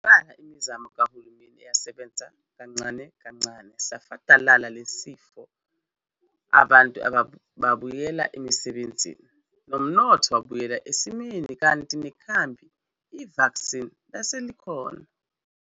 Nebala imizamo kahulumeni yasebenza kancane kancane safadalala lesi sifo abantu babuyela emsebenzini, nomnotho wabuyela esimeni kanti nekhambi, vaccine, laselikhona.